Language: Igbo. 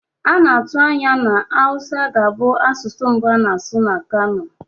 A na-atụ anya na Hausa ga-abụ asụsụ mbụ a na-asụ na Kano.